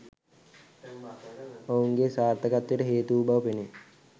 ඔවුන්ගේ සාර්ථකත්වයට හේතු වූ බව පෙනේ